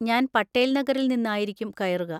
ഞാൻ പട്ടേൽ നഗറിൽ നിന്നായിരിക്കും കയറുക.